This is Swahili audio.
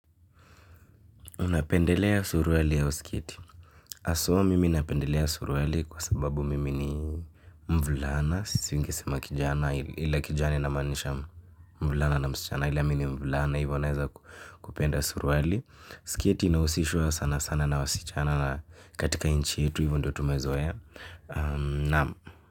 Unapendelea suruali au sikieti. Aswa mimi napendelea suruali kwa sababu mimi ni mvulana. Singesema kijana ila kijana inamanisha mvulana na msichana ila mimi ni mvulana hivyo naweza kupenda suruali. Siketi inausishwa sana sana na wasichana na katika inchi yetu hivyo ndo tumezoea ya. Naam.